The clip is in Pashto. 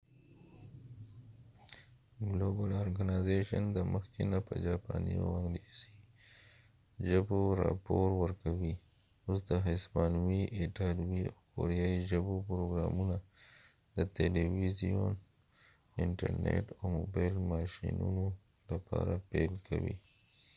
ګلوبل ارګنایزیشن د مخکې نه په جاپانی او انګلیسی ژبو راپور ورکوي اوس د هسپانوي ایټالوي او کوریایې ژبو پروګرامونه د تلويزیون انټر نیټ او موبایل ماشينونو لپاره پیل کوي